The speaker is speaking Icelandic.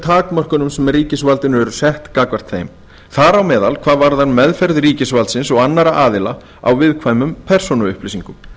takmörkunum sem ríkisvaldinu eru sett gagnvart þeim þar á meðal hvað varðar meðferð ríkisvaldsins og annarra aðila á viðkvæmum persónuupplýsingum